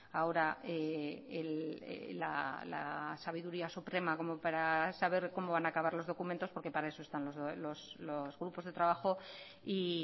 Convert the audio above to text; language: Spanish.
ahora la sabiduría suprema como para saber cómo van a acabar los documentos porque para eso están los grupos de trabajo y